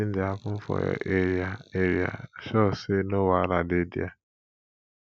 wetin dey happen for your area area sure sey no wahala dey there